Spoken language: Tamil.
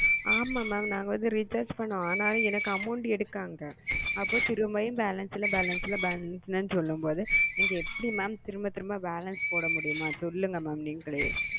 ஆமா mam ந வந்து recharge பண்ண amount எடுத்தாங்க திரும்பியும் balances இல்ல balances இல்ல சொல்லும் போது balances போடா முடியும் ம சொல்லுக நீங்களே